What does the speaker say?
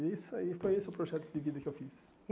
E isso aí foi esse o projeto de vida que eu fiz.